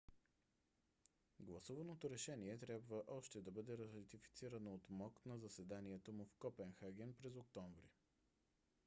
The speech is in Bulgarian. гласуваното решение трябва още да бъде ратифицирано от мок на заседанието му в копенхаген през октомври